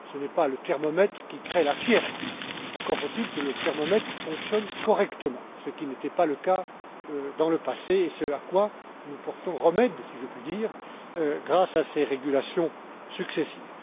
Ce n'est pas le thermomètre qui crée la fièvre, encore faut il que le thermomètre fonctionne correctement, ce qui n'était pas le cas dans le passé, et ce à quoi nous portons remède, si je puis dire, grâce à ces régulations successives.